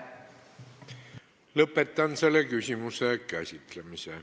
Lõpetan selle küsimuse käsitlemise.